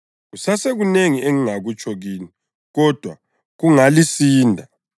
Kusasekunengi engingakutsho kini, kodwa kungalisinda.